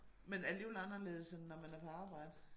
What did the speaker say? Men alligevel anderledes end når man er på arbejde